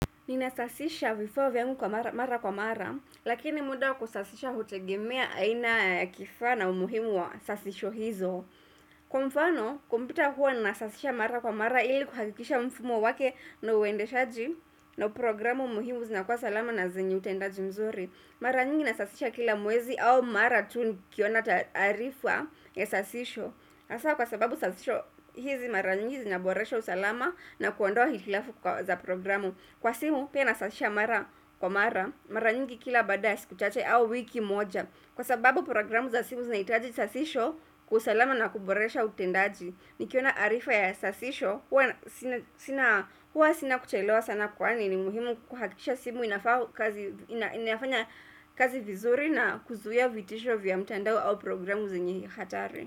Ninasasisha vifaa vyangu mara kwa mara, lakini muda kusasisha hutegemea aina kifaa na umuhimu wa sasisho hizo. Kwa mfano, kumpyota huwa nasasisha mara kwa mara ili kuhakikisha mfumo wake na uendeshaji na programu muhimu zinakuwa salama na zenye utendaji mzuri. Mara nyingi nasasisha kila mwezi au mara tu nikiona taarifa ya sasisho. Hasa kwa sababu sasisho hizi mara nyingi zinaboresha usalama na kuondoa hitilafu za programu Kwa simu pia na sasisho mara kwa mara, mara nyingi kila baada ya siku chache au wiki moja Kwa sababu programu za simu zinahitaji sasisho kwa usalama na kuboresha utendaji Nikiona arifa ya sasisho, huwa sina kuchelewa sana kwani ni muhimu kuhakisha simu inafanya kazi vizuri na kuzuia vitisho vya mtandao au programu zenye hatari.